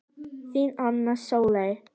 Þín, Anna Sóley.